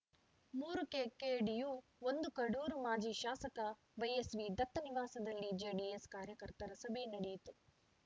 ಮೂರು ಕೆಕೆಡಿಯು ಒಂದು ಕಡೂರು ಮಾಜಿ ಶಾಸಕ ವೈಎಸ್‌ವಿ ದತ್ತ ನಿವಾಸದಲ್ಲಿ ಜೆಡಿಎಸ್‌ ಕಾರ್ಯಕರ್ತರ ಸಭೆ ನಡೆಯಿತು